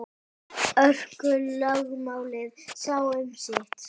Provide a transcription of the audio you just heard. Orkulögmálið sá um sitt.